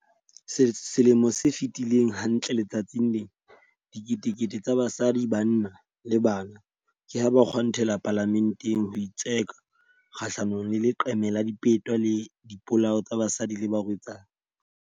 Selemo se fetileng, hantle letsatsing lena, diketekete tsa basadi, banna le bana ke ha ba kgwantela Palamenteng ho itseka kgahlanongle leqeme la dipeto le dipolao tsa basadi le barwetsana.